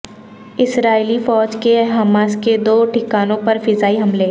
اسرائیلی فوج کے حماس کے دو ٹھکانوں پر فضائی حملے